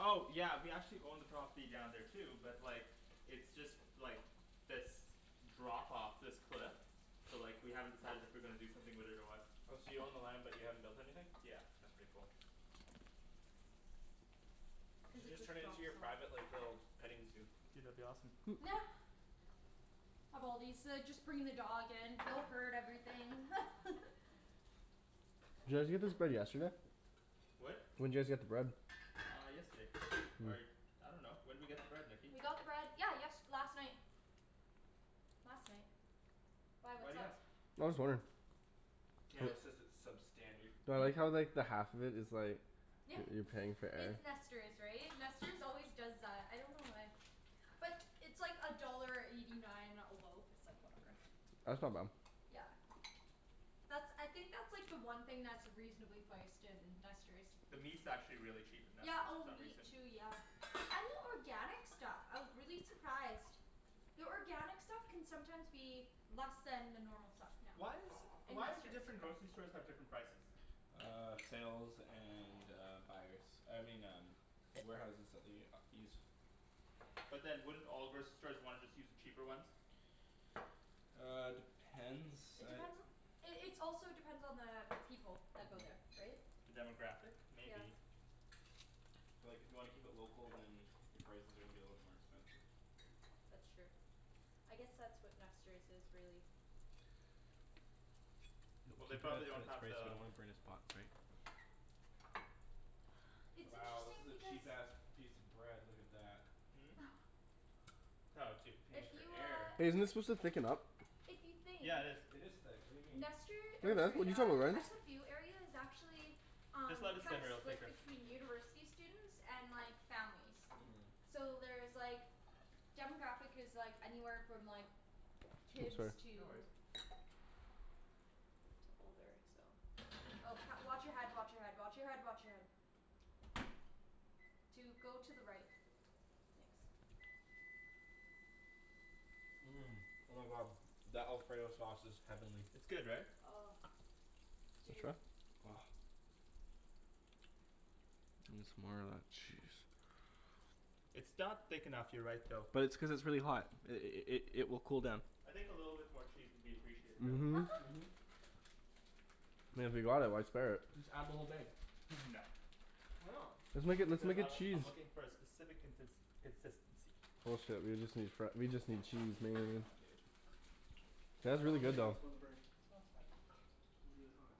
Oh yeah, we actually own the property down there too, but like It's just, like this drop off, this cliff. So like, we haven't decided if we're gonna do something with it or what. Oh, so you own the land but you haven't built anything? Yeah. That's pretty cool. You Cuz should it just just turn it into drops your private off. like, little petting zoo. Dude, that'd be awesome. Of all these, uh just bringing the dog in, everything Did you guys get this bread yesterday? What? When'd you guys get the bread? Uh yesterday. Or I dunno. When'd we get the bread, Nikki? We got the bread, yeah yest- last night. Last night. Why, Why what's do you up? ask? I'm just wondering. Daniel says it's substandard. Well, I like Hmm? how like the half of it is like Yeah. you're paying for air. It's Nester's, right? Nester's always does that. I don't know why. But it's like a dollar eighty nine a loaf. It's like, whatever. That's not bad. Yeah. That's, I think that's like the one thing that's reasonably priced in Nester's. The meat's actually really cheap at Yeah, Nester's for oh some meat reason. too, yeah. And the organic stuff. I was really surprised. The organic stuff can sometimes be less than the normal stuff now. Why is In Why do Nester's. different grocery stores have different prices? Uh sales and uh buyers. I mean um warehouses that they uh use. But then wouldn't all grocery stores wanna just use the cheaper ones? Uh, depends, It I depends on It it's also depends on the people that go there. Right? The demographic? Yeah. Maybe. So like if you wanna keep it local, then Your prices are gonna be a little bit more expensive. That's true. I guess that's what Nester's is, really. Keep it Well at, they at probably don't have this we the don't wanna burn his pots, right? It's Wow, this interesting is a because cheap ass piece of bread. Look at that. Hmm? Oh dude Paying If for you air. uh Hey, isn't this supposed to thicken up? If you think Yeah it is. It is thick. What do you mean? Nester, Hey or man, what sorry are you uh, telling me Ryan? SFU area is actually Just Um let it simmer, it'll thicker. between university students and like, families. Mhm. So there's like demographic is like anywhere from like Oh kids sorry. No to worries. to older, so Oh wa- watch your head, watch your head, watch your head, watch your head. Dude go to the right. Thanks. Mmm. Oh my god. That alfredo sauce is heavenly. It's good right? Oh. Dude. Try? Gimme some more of that cheese. It's not thick enough, you're right though. But it's cuz it's really hot. I- i- i- it will cool down. I think a little bit more cheese would be appreciated though. Mhm. I mean if we bought it, why spare it? Just add the whole thing. No. Why not? Let's make a, let's Because make I a w- cheese. I'm looking for a specific contins- consistency. Bullshit, we just need fre- we just need cheese man. Nah dude. Oh no, you got some Yeah. on the burner. No it's fine. It'd be really hot.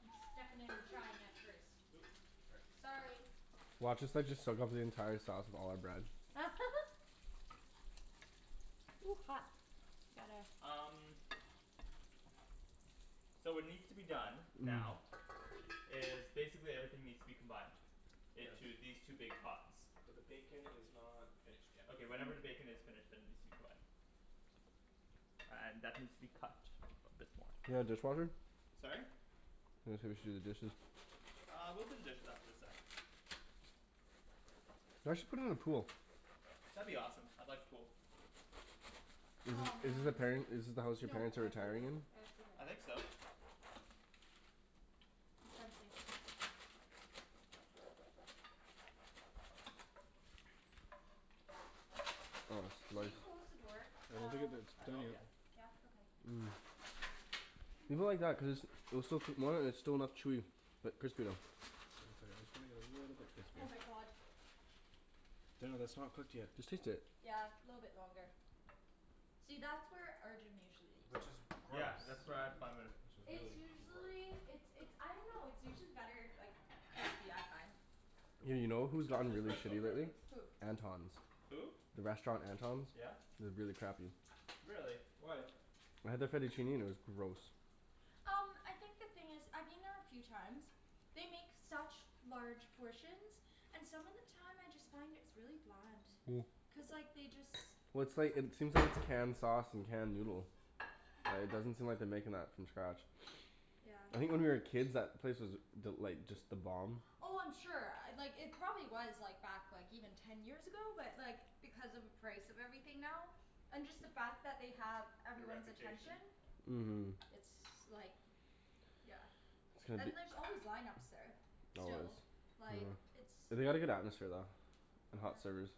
I'm stuffing it and trying it first. Oops, sorry. Sorry. Watch us like just soak up the entire sauce with all our bread. Ooh, hot. Gotta Um So what needs to be done, now is basically everything needs to be combined Yes. into these two big pots. But the bacon is not finished yet. Okay whenever the bacon is finished, then it needs to be combined. Uh and that needs to be cut a bit more. You got a dishwasher? Sorry? I was gonna say we should do the dishes. Uh we'll do the dishes after the sauce. You guys should put in a pool. That'd be awesome. I'd like a pool. Is Aw this is this the man. parent is this the house your No, parents are I retiring cleaned. in? It's okay. I think so. Something. I want a Can slice. you close the door, I uh don't think it that's At done home? yet. Yeah. Yeah? Okay. People like that cuz, they'll still put more and it's still enough chewy, but crispy though. I just wanna get it a little bit crispy. Oh my god. Daniel, that's not cooked yet. Just taste it. Yeah, little bit longer. See, that's where Arjan usually eats. Yeah Gross. cuz that's where I Which is It's really gross. usually, it's it's I dunno, it's usually better if like crispy, I find. Yeah, you know who's That's gotten his really personal shitty lately? preference. Who? Anton's. Who? The restaurant Anton's? Yeah? It was really crappy. Really? Why? I had the fettuccine and it was gross. Um I think the thing is, I've been there a few times. They make such large portions. And some of the time I just find it's really bland. Cuz like, they just Well it's like, it seems like it's canned sauce and canned noodle. Yeah, it doesn't seem like they're making that from scratch. Yeah. I think when we were kids that place was th- like, just the bomb. Oh I'm sure. Uh like it probably was like back like even ten years ago. But like, because of the price of everything now and just the fact that they have Their everyone's attention. reputation? Yeah. Mhm. It's like Yeah. It's gonna be And there's c- always line ups there. Always. Still. Like, it's They had a good atmosphere though. And Yeah. hot servers.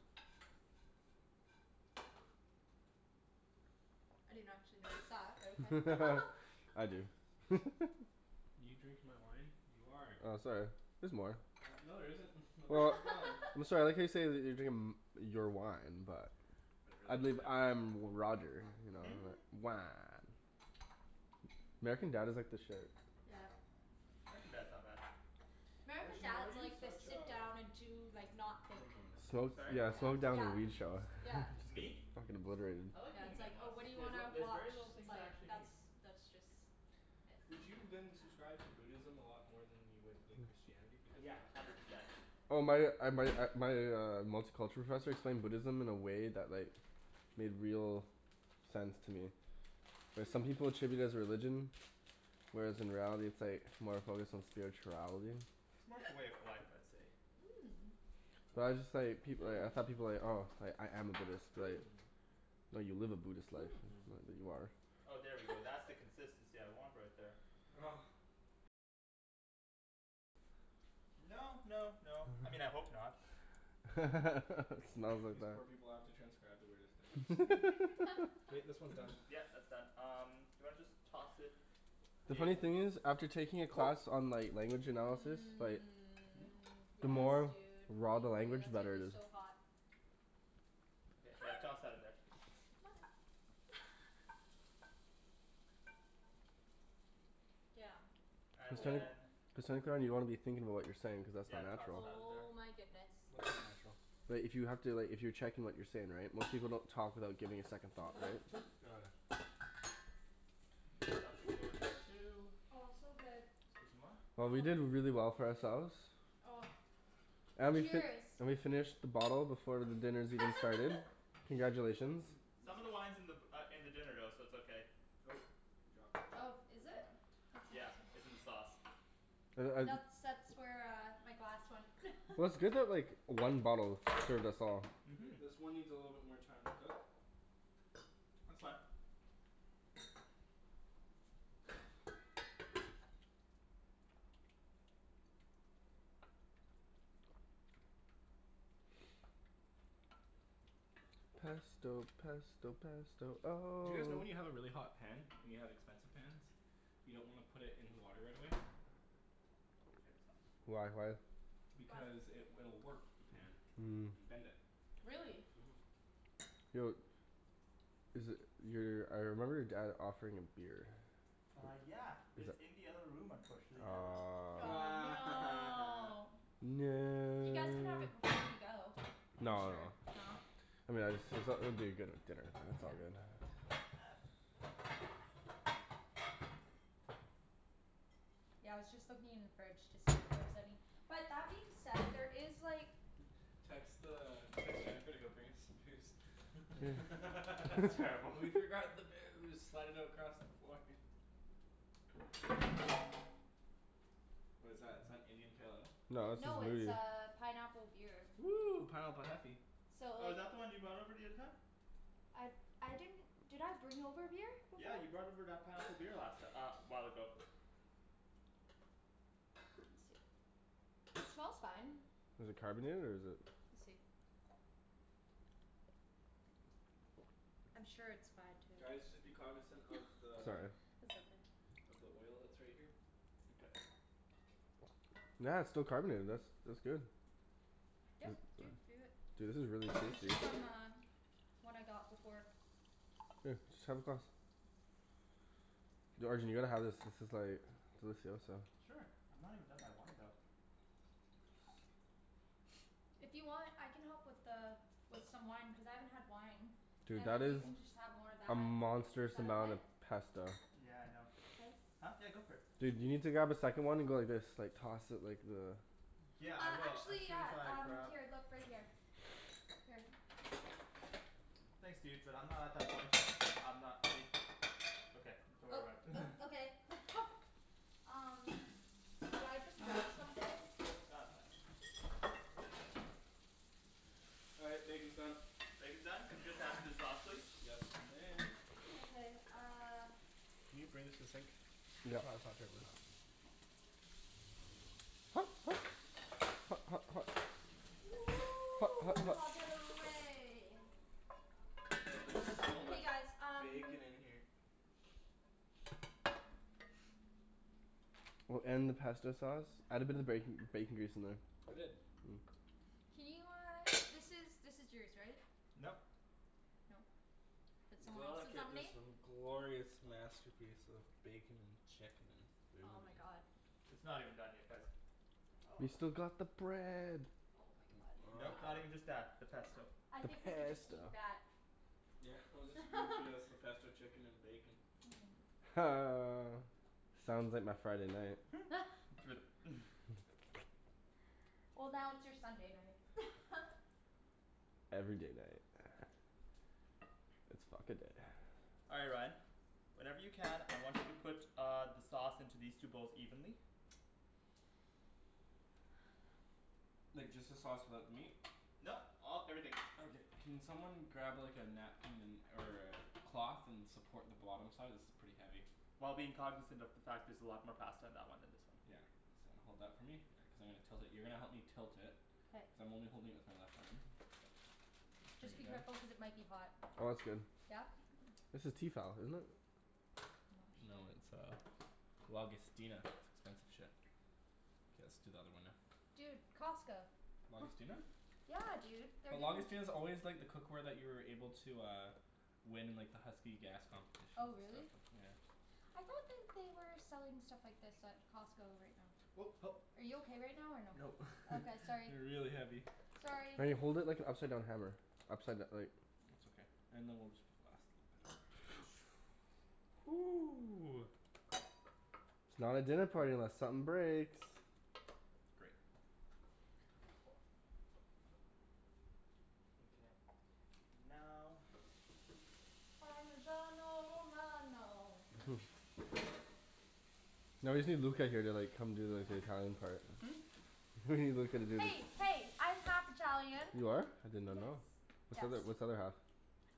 I didn't actually notice that, but okay. I do. You drinking my wine? You are! Oh sorry. There's more. No there isn't. My is gone. I'm sorry, I like how you say that they're drinking m- your wine, but But I really, you believe dick. I'm Roger. Wah. American Dad is like the shit. Yeah. American Dad's not bad. American Arjan why are Dad's you like the such sit a down and do like, not think. Minimalist. Smoke, Sorry? yeah, smoke down Yeah. and weed show. Yeah. Me? Fuckin' obliterated. I like Yeah, being it's a like, oh minimalist. what do you There's a- wanna there's watch? very little It's things I like actually that's need. that's just Did you then subscribe to Buddhism a lot more than you would with Christianity? Because Yeah. then Hundred percent. Oh my uh my uh my uh multiculture professor explained Buddhism in a way that like made real sense to me. Like some people treat it as religion whereas in reality it's like more focused on spirituality. It's more of a way of life, I'd say. Mmm. Well I just like, people y- I thought people like, "Oh, I Hmm. am a Buddhist," like Hmm. "No, you live a Buddhist life. Not that you Hmm. are." Oh there we go. That's the consistency I want right there. No no no, I mean I hope not. It smells like These that. poor people have to transcribe the weirdest things. K, this one's done. Yeah, that's done. Um do you wanna just toss it The funny in thing is, after taking a class on like language analysis, like Mmm. the Yes more dude. raw the Thank you. language, the That's gonna better be it is. so hot. Yeah, toss Hot! that in there. Mother Damn. And Oh. then you wanna be thinking about what you're saying cuz that's Yeah, not toss natural. that in there. Oh my goodness. It's all natural. But if you have to, like if you're checking what you're saying right, most people don't talk without giving it a second thought, right? This stuff can go in there too. Oh it's so good. 'scuzez moi. Oh we did really well for ourselves. Oh. And we fi- Cheers. we finished the bottle before dinner's even started. Congratulations. Some of the wine's in the b- uh in the dinner though, so it's okay. Nope. You dropped the chicken. Oh, is Would you it? mind? Yeah. It's in the sauce. Like That's I that's where uh my glass went. Well, it's good that like one bottle us all. Mhm. Great. This one needs a little bit more time to cook. That's fine. Pesto pesto pesto Do oh you guys know when you have a really hot pan and you have expensive pans you don't wanna put it in the water right away? Get some. Why, why? Why? Because it will warp the pan. Mmm. And bend it. Really? Mhm. Yo Is it, your, I remember your dad offering a beer. Uh yeah. It's in the other room unfortunately now though. Aw. Aw, no! You guys can have No! it before you go. I'm No sure, no. no. I mean I just see something that'd be good with dinner. That's all. Fuck yeah. Yeah, I was just looking in the fridge to see if there is any. But that being said, there is like Text the, text Jennifer to go bring us some booze. That's terrible. We forgot the booze! Slide it across the floor. What is that, is that Indian Pale Ale? No this is No it's Moody. uh pineapple beer. Woo! Pineapple heffy. So Oh is like that the one you brought over the other time? I I didn't Did I bring over a beer before? Yeah you brought over that pineapple beer last ti- uh a while ago. Let me see. It smells fine. Is it carbonated or is it We'll see. I'm sure it's fine to Guys just be cognizant of the Sorry. That's okay. of the oil that's right here. Okay. Yeah, it's still carbonated, this. That's good. Yep dude, do it. Dude this is really It was tasty. just on the One I got before. Here, just have a glass. Yo Arjan you gotta have this, this is like delicioso. Sure. I'm not even done my wine though. If you want I can help with the with some wine, cuz I haven't had wine. Dude And that then you is can just have more of a that. monstrous Is that amount okay? of pesto. Yeah I know. Thanks. Huh? Yeah go for it. Dude you need to grab a second one and go like this, like toss it like the Yeah I Uh will, as actually soon as yeah I um, grab here, look, right here. Here. Thanks dude, but I'm not at that point yet, I'm not um Okay. Don't Oh worry about it. uh okay. Um Did I just break something? Nah, it's fine. All right, bacon's done. Bacon's done? Could you just add it to the sauce please? Yes you may. Okay uh Can you bring this to the sink? Yeah, untucker this. Hot hot. Hot hot hot. Hot hot hot. Get out of the way. Wow there's so Hey much guys um bacon in here. Well, and the pesto sauce. Add a bit of bacon, bacon grease in there. I did. Can you uh, this is, this is yours right? Nope. No. That's someone Look else's at on this me? um glorious masterpiece of bacon and chicken and Oh food. my god. It's not even done yet guys. We've still got the bread. Oh my god. Nope, not even just that. The pesto. I think we could just Pesto. eat that. Yeah, we'll spoon feed us the pesto chicken and bacon. Ha. Sounds like my Friday night. Flip. Well now it's your Sunday night. Every day night. It's fuck a day. All right Ryan. Whenever you can, I want you to put uh the sauce into these two bowls evenly. Like just the sauce without the meat? Nope, all, everything. Okay. Can someone grab like a napkin and or a cloth and support the bottom side? This is pretty heavy. While being cognizant of the fact there's a lot more pasta in that one than this one. Yeah. So hold that for me, yeah, cuz I'm gonna tilt it. You're gonna help me tilt it. Cuz K. I'm only holding it with my left arm. Just be careful cuz it might be hot. Oh that's good. Yeah? This is Tefal, isn't it? No it's uh Lagostina. It's expensive shit. K, let's do the other one now. Dude, Costco. Lagostina? Yeah dude, they're But giving Lagostina's always like the cookware that you were able to uh win in like the Husky gas Oh competitions and really? stuff, yeah. I thought that they were selling stuff like this at Costco right now. Oh help. Are you okay right now or no? Nope. Okay, sorry. They're really heavy. Sorry! Wait, hold it like an upside down hammer. Upside d- like It's okay. And then we'll just put the last little bit. Ooh. It's not a dinner party unless something breaks. Great. Mkay. Now Parmesano romano. No, you see Luca here they're like, come do like the Italian part. Hmm? He's not gonna do this. Hey hey, I'm half Italian. You are? I did not know. Yes. What's the Yes. other what's the other half?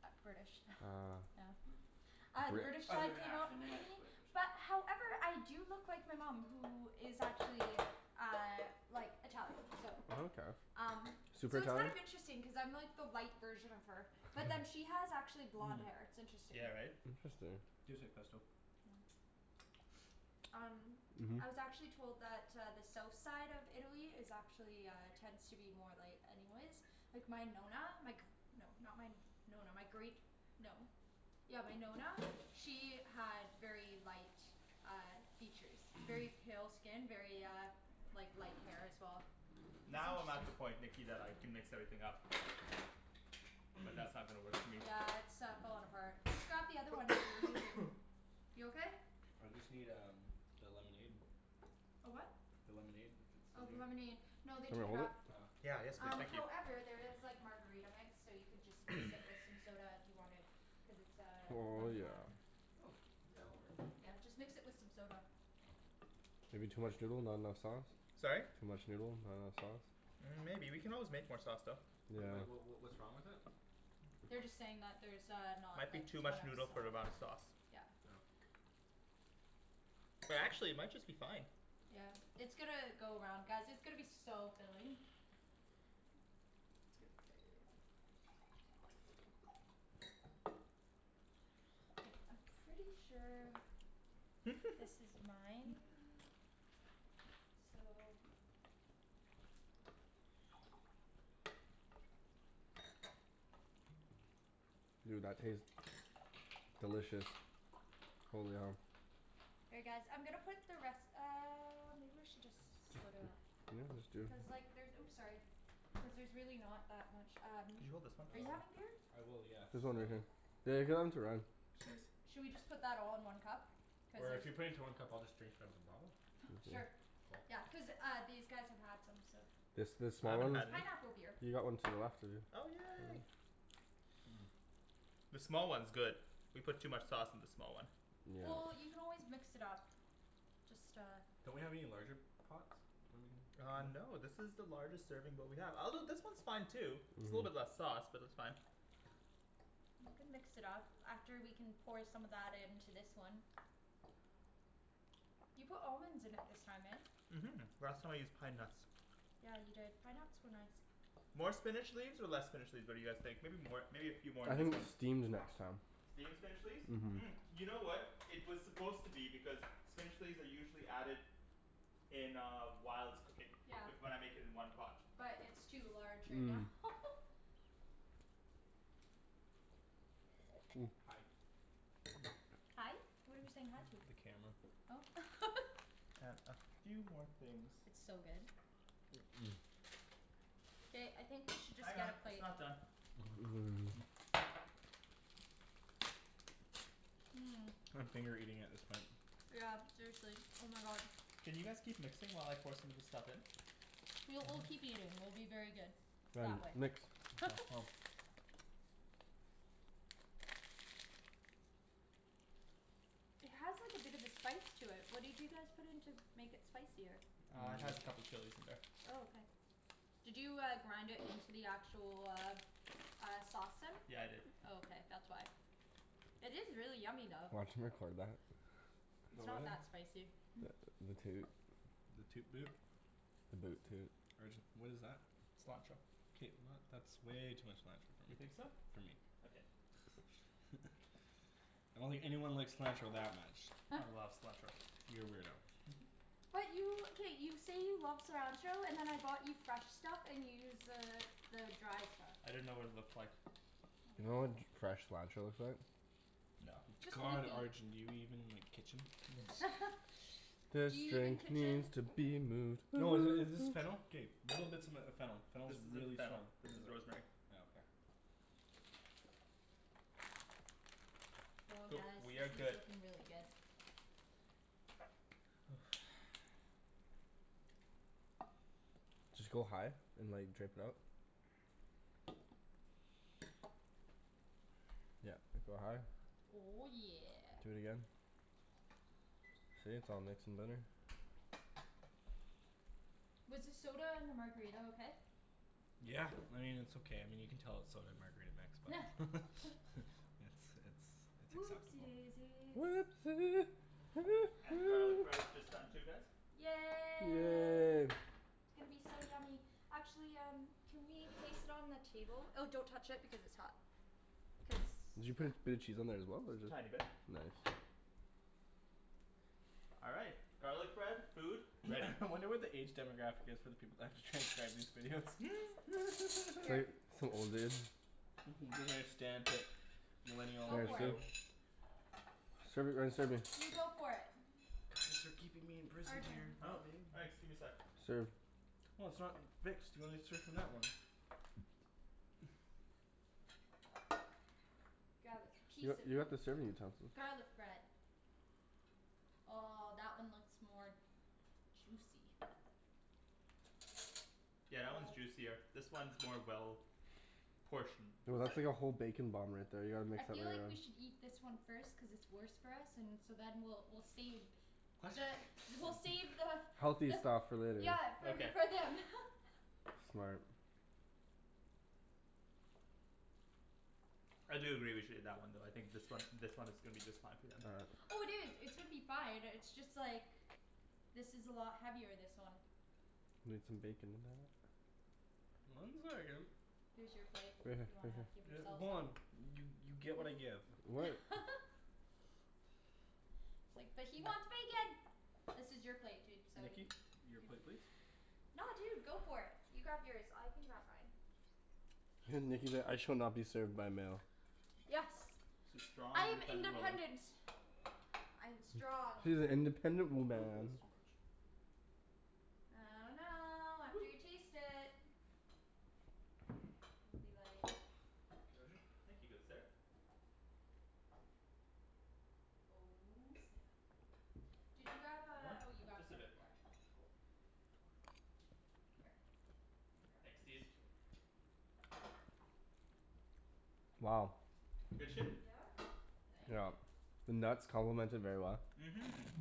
Uh British. Ah. Oh. Ah, the British Other side came half out inadequate. But however I do look like my mom, who is actually uh like Italian, so Oh okay. um Super So it's kind Italian? of interesting cuz I'm like the light version of her. Hmm. Yeah, right? Interesting. Tastes like pesto. Hmm. Um Mhm. I was actually told that uh the south side of Italy is actually uh, tends to be more light anyways. Like my Nonna, my gr- No, not my Nonna, my great No. Yeah, my Nonna, she had very light uh features very pale skin, very uh like light hair as well. Now I'm at the point Nikki that I can mix everything up. But that's not gonna work for me. Yeah it's uh falling apart. Just grab the other one that you were using. You okay? I just need um the lemonade. A what? The lemonade? If it's still Oh, the here? lemonade. No Want they me to took it hold it? up. Oh. Yeah, yes please, Um thank you. however there is like margarita mix, so you could just mix it with some soda if you wanted. Cuz it's uh Oh lemon yeah. lime. Hmm. Yeah, that works. Yeah, just mix it with some soda. Maybe too much noodle, not enough sauce? Sorry? Too much noodle, not enough sauce. Mm maybe, we can always make more sauce though. Yeah. Wait what what what what's wrong with it? They're just saying that there's uh I not like think too much kind of noodle for the amount of sau- sauce. Yeah. Oh. But actually it might just be fine. Yeah. It's gonna go around, guys, it's gonna be so filling. It's gonna be good. I'm pretty sure this is mine. So. Dude, that tastes delicious. Holy hell. Here guys, I'm gonna put the res- um or maybe I should just split it up. Yeah, let's do. Cuz like there's, oops sorry. Cuz there's really not that much um Can you hold this one Are please? you Um having beer? I will, yes, There's um one right here. They're going to run. Cheers. Shall we just put that all in one cup? Cuz Or if if you put it into one cup I'll just drink it out of the bottle. Sure. Oh. Yeah. Cuz uh these guys have had some, so It's this I small haven't one? It's had any. pineapple beer. He got one too, after you. Oh yay. Mmm. The small one's good. We put too much sauce in the small one. Well, Yeah. you can always mix it up. Just uh Don't we have any larger pots? Uh no this is the largest serving bowl we have. Although this one's fine too. Just a little bit Mhm. less sauce, but that's fine. You can mix it up. After we can pour some of that into this one. You put almonds in it this time, eh? Mhm. Last time I used pine nuts. Yeah you did. Pine nuts were nice. More spinach leaves or less spinach leaves, what do you guys think? Maybe more. Maybe a few more I in this think one steamed next time. Steam the spinach leaves? Mhm Mm, you know what It was supposed to be, because spinach leaves are usually added in uh whilst cooking. Yeah. With what I'm making in one pot. But it's too large right now. Mmm. Hi. Hi? What are we saying hi to? The camera. Oh. And a few more things. It's so good. Ba- I think we should just get a it's plate. not done. Mmm. Mmm. I'm finger eating at this point. Yeah seriously, oh my god. Can you guys keep mixing while I pour some of this stuff in? We'll, we'll keep eating. We'll be very good. That Found way. you. Nikks? It has like a bit of a spice to it, what did you guys put in to make it spicier? Uh it has a couple chilis in there. Oh okay. Did you uh grind it into the actual, uh uh sauce then? Yeah I did. Oh okay, that's why. It is really yummy though. Watch 'em record that. It's About not what? that spicy. The the toot. The toot boot? The boot toot. Arjan what is that? Cilantro. K not, that's way too much cilantro. You think so? For me. Okay. I don't think anyone likes cilantro that much. I love cilantro. You're a weirdo. But you, k, you say you love cilantro, and then I bought you fresh stuff and you use the the dry stuff. I didn't know what it looked like. Oh You know my what god. fresh cilantro looks like? No. Just God Arjan, do you even like, kitchen? This Do you even drink kitchen? needs to be moved. No i- is this fennel? K little bits of m- fennel. Fennel This is isn't really fennel. strong. This is rosemary. Oh okay. Oh Cool. guys, We this have is good looking really good. Just go high and like drip it up. Yep. Like, go high. Oh yeah. Do it again. See, it's all mixed and better. Was the soda and the margarita okay? Yeah, I mean it's okay. I mean you can tell it's soda and margarita mix, but. It's it's it's Whoopsie acceptable. daisies. Whoopsie, hoo And the garlic hoo. bread is just done too guys. Yay. Yay. It's gonna be so yummy. Actually um can we place it on the table? Oh don't touch it because it's hot. Cuz, Did you put yeah. a bit of cheese on there as well or is it just Tiny bit. Nice. All right. Garlic bread, food, ready. I wonder what the age demographic is for the people that have to transcribe these videos. Here. some old dude. Mhm. Don't understand it. Millennial Go for it. lingo. Serve it Ryan, serve me. You go for it. Thanks for keeping me in prison Arjan. dear. Huh? Thanks, give me sec. Serve. Well it's not mixed, you wanna serve from that one. Grab a You piece got of you got the serving utensils. garlic bread. Oh that one looks more juicy. Yeah, that one's juicier. This one's more well portioned. Yo that's like a whole bacon bomb right there, you gotta mix I that feel one like up. we should eat this one first cuz it's worse for us, and so then we'll we'll save the, we'll save the Healthy But stuff for later. Yeah for, Okay. for them. Smart. I do agree with you on that one though, I think this one this one is gonna be just fine for them. All right. Oh dude, it's gonna be fine, it's just like this is a lot heavier, this one. Need some bacon with that. Mine's very good. Here's your plate, Right if here, you right wanna here. give yourself hold some. on, you you get what I give. What It's like, but he wants bacon. This is your plate dude, so y- Nikki? Your plate please. No dude, go for it. You grab yours. I can grab mine. Nikki's like "I shall not be served by a male." Yes. She's strong I am independent woman. independent. I am strong. She's an independent I think that's woman. too much. I dunno, after Woo. you taste it. Gonna be like Arjan? Thank you, good sir. Oh snap! Did you grab uh, More? oh you grabbed Just the a other bit more. part. Here. Thanks dude. Wow. Good shit? Yeah. Thank you. The nuts complement it very well. Mhm.